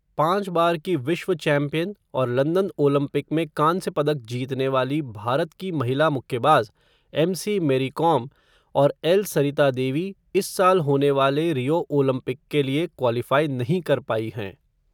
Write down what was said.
पाँच बार की विश्व चैम्पियन और लंदन ओलंपिक में कांस्य पदक जीतने वाली भारत की महिला मुक्केबाज़, एमसी मेरी कॉम, और एल सरिता देवी, इस साल होने वाले रियो ओलंपिक के लिए क्वालिफ़ाई नहीं कर पाई हैं.